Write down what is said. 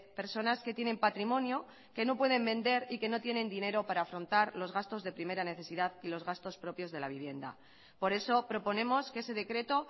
personas que tienen patrimonio que no pueden vender y que no tienen dinero para afrontar los gastos de primera necesidad y los gastos propios de la vivienda por eso proponemos que ese decreto